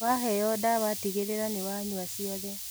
Waheo ndawa tigĩrĩra nĩ wanyũa ciothe